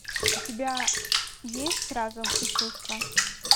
у тебя есть разум и чувства